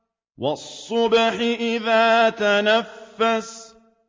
وَالصُّبْحِ إِذَا تَنَفَّسَ